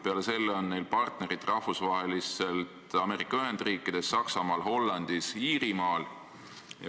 Peale selle on neil rahvusvaheliselt tegutsedes partnerid Ameerika Ühendriikides, Saksamaal, Hollandis, Iirimaal.